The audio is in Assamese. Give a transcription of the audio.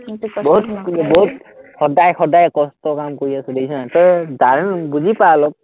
সদায় সদায় কষ্টৰ কাম কৰি আছো, দেখিছ নাই, তই দাৰুণ বুজি পা অলপ,